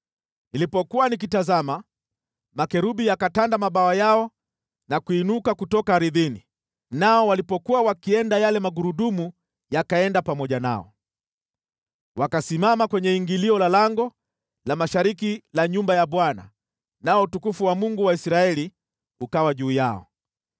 Nilipokuwa nikitazama, makerubi yakatanda mabawa yao na kuinuka kutoka ardhini, nao walipokuwa wakienda, yale magurudumu yakaenda pamoja nao. Wakasimama kwenye ingilio la lango la mashariki la nyumba ya Bwana , nao utukufu wa Mungu wa Israeli ukawa juu yao.